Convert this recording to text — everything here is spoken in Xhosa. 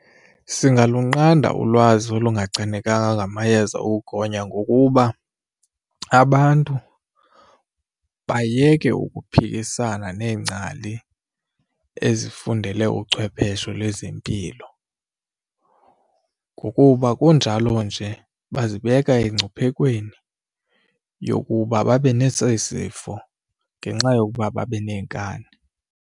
Singalunqanda ulwazi olungachanekanga ngamayeza ukugonya ngokuba abantu bayeke ukuphikisana neengcali ezifundele uchwephesho lezempilo, ngokuba kunjalo nje bazibeka engcuphekweni yokuba babe nesi sifo ngenxa yokuba babe nenkani.